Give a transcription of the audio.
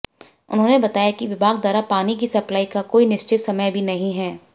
उन्होंने बताया कि विभाग द्वारा पानी की सप्लाई का कोई निश्चित समय भी नहीं है